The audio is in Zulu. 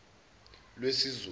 lwesizulu